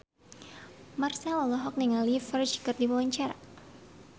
Marchell olohok ningali Ferdge keur diwawancara